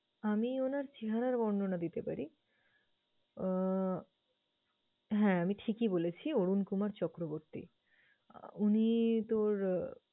আমি উনার চেহারার বর্ণনা দিতে পারি। আহ হ্যাঁ আমি ঠিকই বলেছি, অরুণ কুমার চক্রবর্তী। আহ উনি তোর